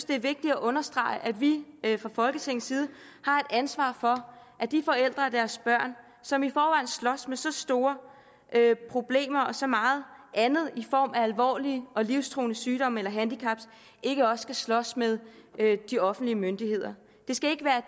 det er vigtigt at understrege at vi fra folketingets side har et ansvar for at de forældre og deres børn som i forvejen slås med så store problemer og så meget andet i form af alvorlig og livstruende sygdom eller handicap ikke også skal slås med de offentlige myndigheder det skal ikke være